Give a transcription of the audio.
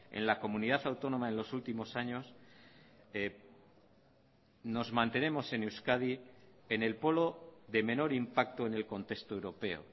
en la comunidad autónoma en los últimos años nos mantenemos en euskadi en el polo de menor impacto en el contexto europeo